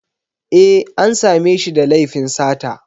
E, an sa me shi da laifin sata